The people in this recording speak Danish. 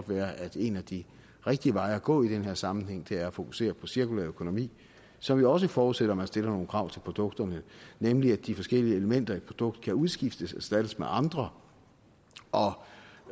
være at en af de rigtige veje at gå i den her sammenhæng er at fokusere på cirkulær økonomi som jo også forudsætter at man stiller nogle krav til produkterne nemlig at de forskellige elementer i et produkt kan udskiftes og erstattes med andre og